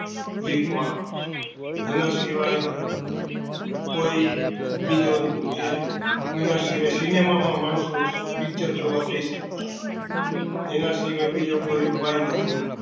એના સિવાય કોઈ બીજો અ sinema માં માણસો picture જઈ સકતા એના બીજો કોઈ ઉપાય નતો